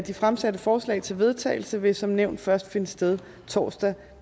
de fremsatte forslag til vedtagelse vil som nævnt først finde sted torsdag